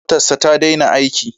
Fitilar motarsa ta daina aiki.